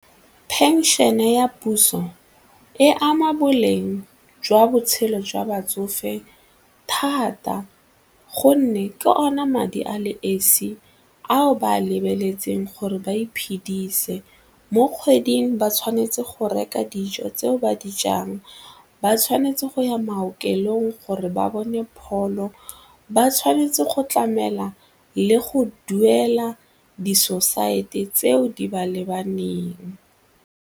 Phenšene ya puso e ama boleng jwa botshelo jwa batsofe thata gonne ke ona madi a le esi ao ba a lebeletseng gore ba iphedise, mo kgweding ba tshwanetse go reka dijo tseo ba di jang, ba tshwanetse go ya maokelong gore ba bone pholo, ba tshwanetse go tlamela le go duela disosaete tseo di ba lebaneng.